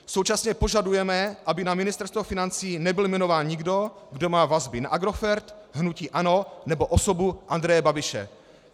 Současně požadujeme, aby na Ministerstvo financí nebyl jmenován nikdo, kdo má vazby na Agrofert, hnutí ANO nebo osobu Andreje Babiše.